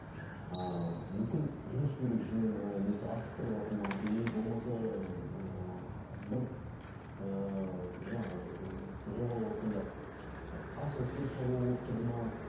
ыыы мүмкін жұмыс берушінің несі асықтырыватыр ма или болмаса ыыы бір ыыы жаңағы жобалаватқанда ы асығыс бір шаруа болып тұрды ма